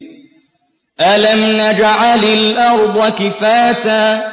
أَلَمْ نَجْعَلِ الْأَرْضَ كِفَاتًا